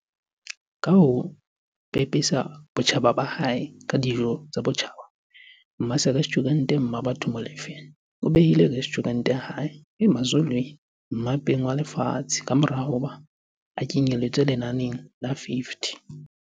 Ka ho pepesa botjhaba ba hae ka dijo tsa botjhaba, mmarestjhurente Mmabatho Molefe o behile restjhurente ya hae, Emazulwini, mmapeng walefatshe kamora hoba e kenyeletswe ho lenane la50